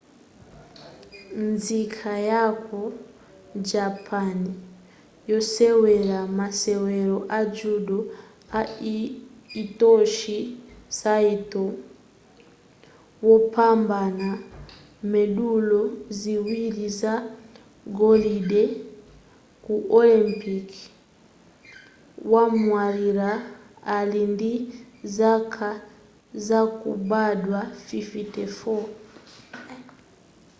nzika yaku japan yosewera masewero a judo a hitoshi saito wopambana mendulo ziwiri za golide ku olympic wamwalira ali ndi zaka zakubadwa 54